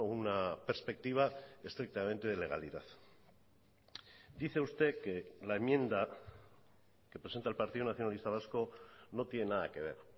una perspectiva estrictamente de legalidad dice usted que la enmienda que presenta el partido nacionalista vasco no tiene nada que ver